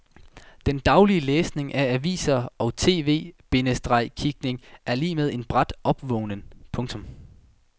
Den daglige læsning af aviser og tv- bindestreg kigning er lig med en brat opvågnen. punktum